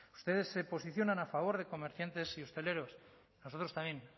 ustedes se posicionan a favor de comerciantes y hosteleros nosotros también